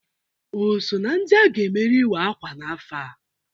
O so na ndị a ga-emere iwa-akwa n'afọ a?